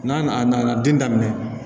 N'a nana den daminɛ